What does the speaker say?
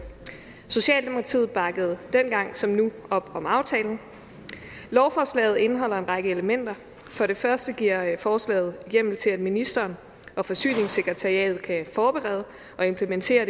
socialdemokratiet bakkede dengang som nu op om aftalen lovforslaget indeholder en række elementer for det første giver forslaget hjemmel til at ministeren og forsyningssekretariatet kan forberede og implementere